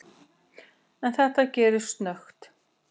En þetta gerðist snöggt.